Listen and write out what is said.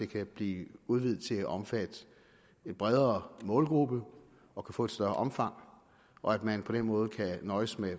kan blive udvidet til at omfatte en bredere målgruppe og kan få et større omfang og at man på den måde kan nøjes med